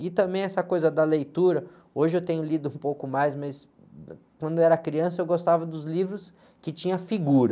E também essa coisa da leitura, hoje eu tenho lido um pouco mais, mas, quando eu era criança eu gostava dos livros que tinham figura.